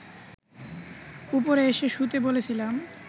ওপরে এসে শুতে বলেছিলাম